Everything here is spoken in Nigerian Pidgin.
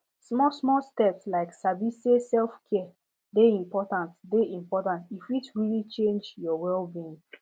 smallsmall steps like sabi say selfcare dey important dey important e fit really change your wellbeing